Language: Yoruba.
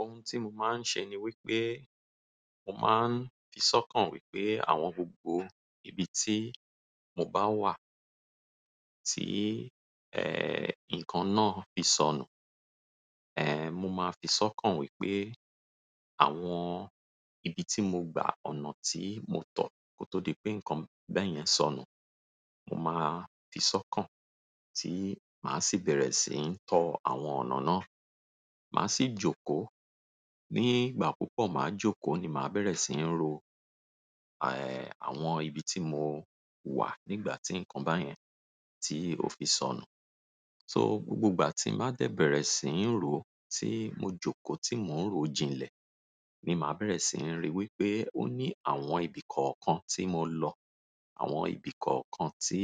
Ohun tí mo máa ń ṣe ni wípé mo máa ń fi sọ́kàn wípé àwọn gbogbo ibi tí mo bá wà tí, ẹ́, nǹkan náà fi sọnù, ẹ́, mo máa fi sọ́kàn wípé àwọn ibi tí mo gba ọ̀nà tí mo tọ̀ kó tó di pé nǹkan bẹ́ẹ̀ yẹn sọnù, mo máa fi sọ́kàn tí màá sì bẹ̀rẹ̀ sí ń tọ àwọn ọ̀nà náà. Màá sì jókòó, nígbà púpọ̀ màá jókòó ni màá bẹ̀rẹ̀ sí ń ro, ẹ́, àwọn ibi tí mo wà nígbà tí nǹkan báyẹn tí ó fi sọnù. So gbogbo ìgbà tí màá dẹ̀ bẹ̀rẹ̀ sí ń ro, tí mo jókòó, tí mò ń ro jìnlẹ̀ ni màá bẹ̀rẹ̀ sí ń rí wípé ó ní àwọn ibi kọ̀ọ̀kan tí mo lọ, àwọn ibi kọ̀ọ̀kan tí,